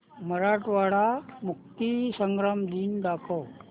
मराठवाडा मुक्तीसंग्राम दिन दाखव